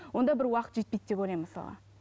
онда бір уақыт жетпейді деп ойлаймын мысалға